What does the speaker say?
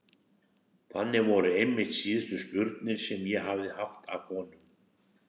Þannig voru einmitt síðustu spurnir sem ég hafði haft af honum.